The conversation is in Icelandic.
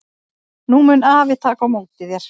Nú mun afi taka á móti þér.